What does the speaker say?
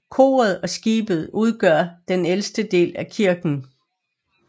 Koret og skibet udgør den ældste del af kirken